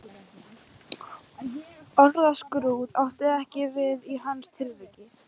Orðskrúð átti ekki við í hans tilviki.